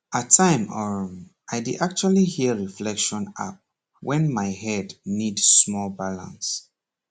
at time um i dey actually hear reflection app when my head need small balance